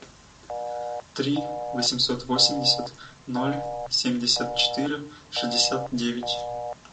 три восемьсот восемьдесят ноль семьдесят четыре шестьдесят девять